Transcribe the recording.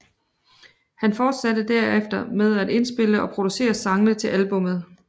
Han forsatte derefter med at indspille og producere sangene til albummet